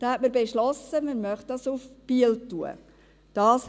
So hat man beschlossen, dass man das nach Biel tun möchte.